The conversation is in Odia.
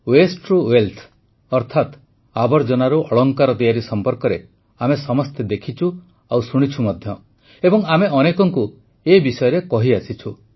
Wasteରୁ ୱେଲ୍ଥ ଅର୍ଥାତ ଆବର୍ଜନାରୁ ଅଳଙ୍କାର ତିଆରି ସଂପର୍କରେ ଆମେ ସମସ୍ତେ ଦେଖିଛୁ ଆଉ ଶୁଣିଛୁ ମଧ୍ୟ ଏବଂ ଆମେ ଅନେକଙ୍କୁ ଏ ବିଷୟରେ କହିଆସିଛୁ